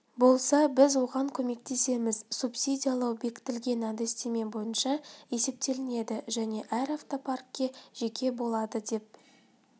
болса біз оған көмектесеміз субсидиялау бекітілген әдістеме бойынша есептелінеді және әр автопаркке жеке болады деп